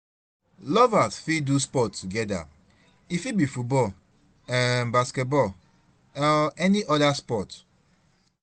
lovers fit do sport together, e fit be football, um basketball um or any sport